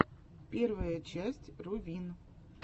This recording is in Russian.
первая часть рувин